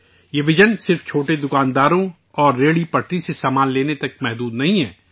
یہ وژن صرف چھوٹے دکانداروں اور خوانچہ فروشوں سے سامان لینے تک محدود نہیں ہے